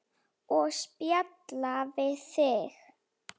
Og spjalla við þig.